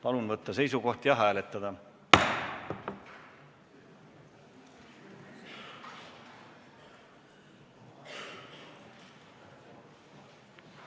Palun võtta seisukoht ja hääletada!